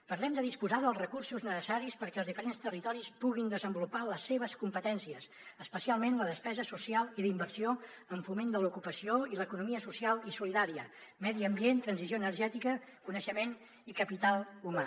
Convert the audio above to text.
parlem de disposar dels recursos necessaris perquè els diferents territoris puguin desenvolupar les seves competències especialment la despesa social i d’inversió en foment de l’ocupació i l’economia social i solidària medi ambient transició energètica coneixement i capital humà